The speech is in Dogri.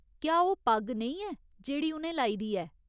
क्या ओह् पग्ग नेईं ऐ जेह्ड़ी उ'नें लाई दी ऐ ?